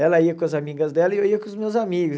Ela ia com as amigas dela e eu ia com os meus amigos.